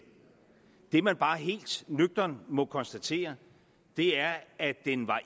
det man bare helt nøgternt må konstatere er at den